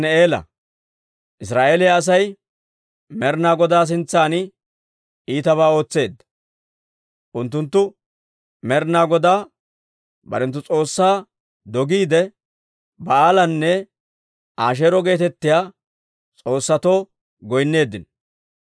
Israa'eeliyaa Asay Med'inaa Godaa sintsan iitabaa ootseedda. Unttunttu Med'inaa Godaa barenttu S'oossaa dogiide, Ba'aalanne Asheero geetettiyaa s'oossatoo goynneeddino.